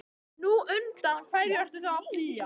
Nú, undan hverju ertu þá að flýja?